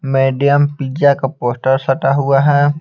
Medium pizza का poster सटा हुआ है।